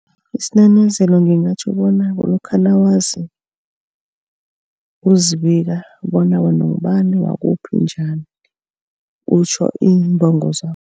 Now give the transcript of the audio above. Isinanazelo ngingatjho bona kulokha nawazi, uzibika bona wena ungubani wakuphi njani utjho iimbongo